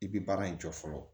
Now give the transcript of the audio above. I bi baara in jɔ fɔlɔ